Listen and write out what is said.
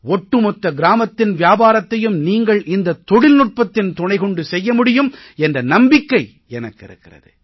ஒட்டுமொத்த கிராமத்தின் வியாபாரத்தையும் நீங்கள் இந்தத் தொழில்நுட்பத்தின் துணை கொண்டு செய்ய முடியும் என்ற நம்பிக்கை எனக்கு இருக்கிறது